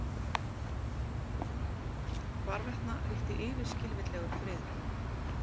Hvarvetna ríkti yfirskilvitlegur friður.